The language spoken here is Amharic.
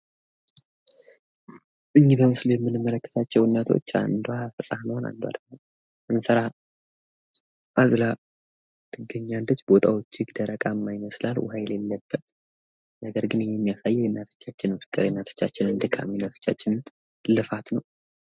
ይህ በምስሉ ላይ የምንመለከታቸው እናቶች አንዷ ህጻኗን አንዷ ደግሞ እንስራ አዝላ ያሳያል። ቦታው ደረቅ ይመስላል ምንም አይነት ውሃ የሌለበት። ይህ የሚያሳየው የእናቶቻችን ልፋትና እንግልት ነው።